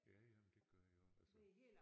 Ja ja men det gør jeg også altså